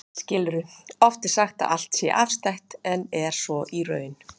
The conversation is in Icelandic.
Oft er sagt að allt sé afstætt, en er svo í raun?